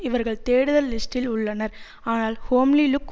இவர்கள் தேடுதல் லிஸ்டில் உள்ளனர் ஆனால் ஹோம்லி லுக்